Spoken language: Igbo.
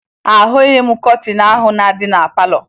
Ahụghị m kọtịn ahụ na-adị na palọ